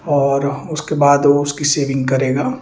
और उसके बाद वह उसकी सेविंग करेगा --